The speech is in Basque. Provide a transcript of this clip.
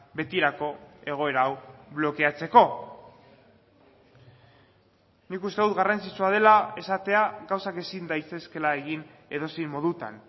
betirako egoera hau blokeatzeko nik uste dut garrantzitsua dela esatea gauzak ezin daitezkeela egin edozein modutan